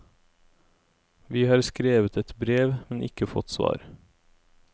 Vi har skrevet et brev, men ikke fått svar.